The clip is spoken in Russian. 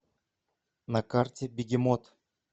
на карте бегемот